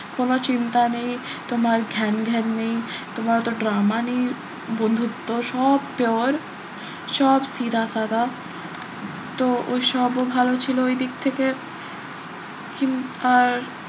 কোন চিন্তা নেই. তোমার ঘ্যানঘ্যান নেই তোমার অত drama নেই বন্ধুত্ব সব pure সব সিধা সাদা তো ওই সবও ভালো ছিল ওই দিক থেকে আর,